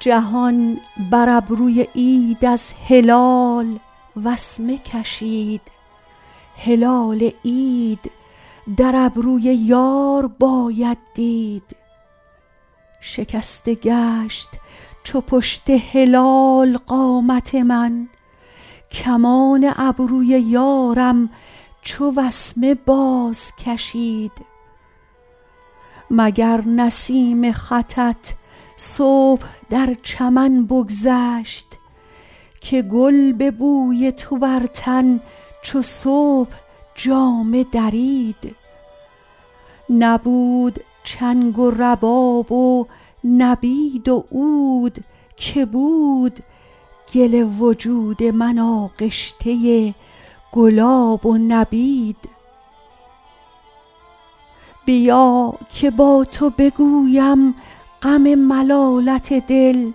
جهان بر ابروی عید از هلال وسمه کشید هلال عید در ابروی یار باید دید شکسته گشت چو پشت هلال قامت من کمان ابروی یارم چو وسمه بازکشید مگر نسیم خطت صبح در چمن بگذشت که گل به بوی تو بر تن چو صبح جامه درید نبود چنگ و رباب و نبید و عود که بود گل وجود من آغشته گلاب و نبید بیا که با تو بگویم غم ملالت دل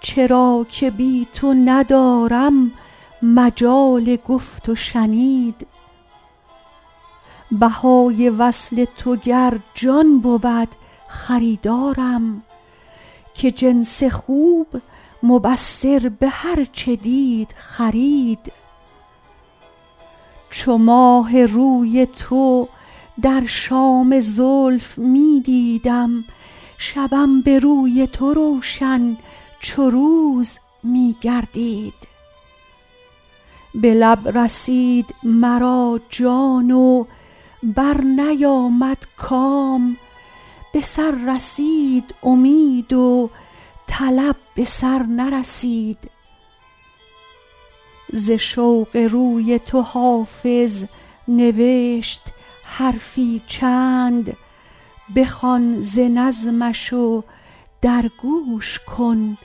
چرا که بی تو ندارم مجال گفت و شنید بهای وصل تو گر جان بود خریدارم که جنس خوب مبصر به هر چه دید خرید چو ماه روی تو در شام زلف می دیدم شبم به روی تو روشن چو روز می گردید به لب رسید مرا جان و برنیامد کام به سر رسید امید و طلب به سر نرسید ز شوق روی تو حافظ نوشت حرفی چند بخوان ز نظمش و در گوش کن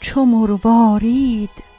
چو مروارید